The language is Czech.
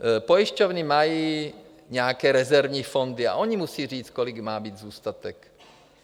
Pojišťovny mají nějaké rezervní fondy a ony musejí říct, kolik má být zůstatek.